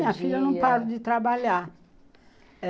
Minha filha não para de trabalhar.